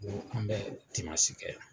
Ko an bɛ dimasi kɛ.